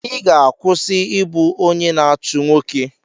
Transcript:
Ị ga-akwụsị ịbụ onye na-achụ nwoke!